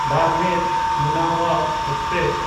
ᱵᱟᱨᱢᱮᱨ–ᱢᱩᱱᱟᱵᱟᱣ passenger